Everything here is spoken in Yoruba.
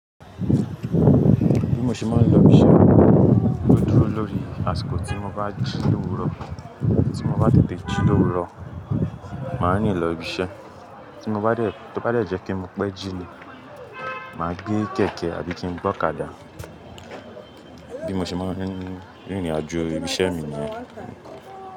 Bí mo ṣe máa ń lọ ibiṣẹ́, ó dúró lórí àsìkò tí mo bá jí lówu rọ. Tí mo bá tètè jí lówó rọ, màá nílò ibiṣẹ́. Tí mo bá dẹ̀, tó bá dẹ́ je pẹ́ mo pe ji ni, màá gbé kẹ̀kẹ́ àbí kí n gbọ́ ọ̀kadà. Bí mo ṣe máa ń rìnrìnàjò ibiṣẹ́ mi ní yen.